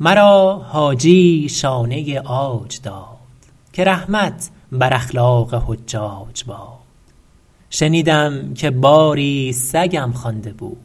مرا حاجیی شانه عاج داد که رحمت بر اخلاق حجاج باد شنیدم که باری سگم خوانده بود